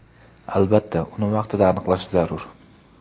Albatta, uni vaqtida aniqlash zarur.